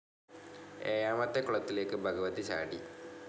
ഏഴാമത്തെ കുളത്തിലേക്ക് ഭഗവതി ചാടി.